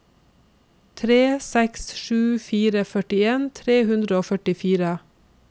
tre seks sju fire førtien tre hundre og førtifire